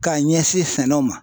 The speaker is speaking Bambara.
K'a ɲɛsin sɛnɛw ma